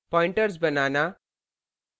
pointers बनाना